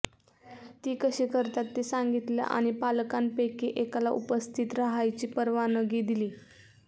ती कशी करतात ते सांगितलं आणि पालकांपैकी एकाला उपस्थित रहायची परवानगी दिली